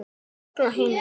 Ég verð nú ekki eldri!